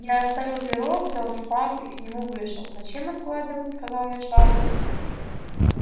я оставил перо взял шпагу и к нему вышел зачем откладывать сказал мне швабрин